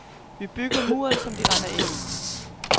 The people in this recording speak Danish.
Vi bygger muren, som de render ind i.